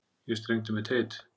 Ég strengdi mitt heit.